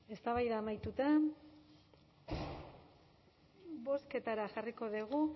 eztabaida amaituta bozketara jarriko dugu